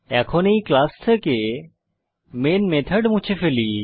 এখন এই ক্লাস থেকে মেন মেথড মুছে ফেলি